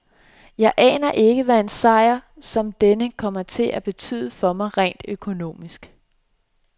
Jeg aner ikke, hvad en sejr som denne kommer til at betyde for mig økonomisk.